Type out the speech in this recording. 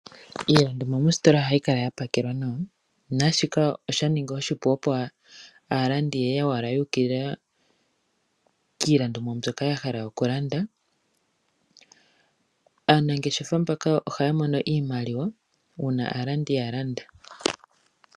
Iilandomwa mositola ohayi kala yapakelwa nawa, nashika osha ningi oshipu opo aalandi yewala yukilila kiilandomwa mbyoka yahala oku landa, aanangeshefa mbaka oha ya mono iimaliwa, una aalandi yalanda.